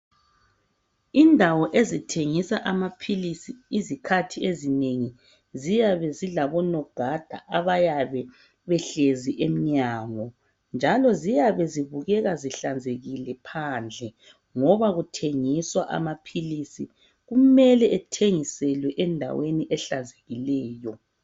Indawo ezithengisa amaphilisi izikhathi ezinengi ziyabe zilabo nogada abayabe behlezi emnyango njalo ziyabe zibukeka zihlanzekile phandle ngoba kuthengiswa amaphilisi. Kumele ethengiselwe endaweni ehlanzekileyo.